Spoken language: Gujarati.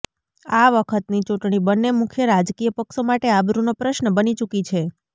આ વખતની ચૂંટણી બંને મુખ્ય રાજકીય પક્ષો માટે આબરૂનો પ્રશ્ન બની ચૂકી છે